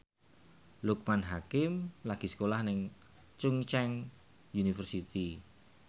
Loekman Hakim lagi sekolah nang Chungceong University